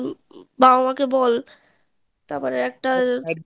বাবা মাকে বল তারপর একটা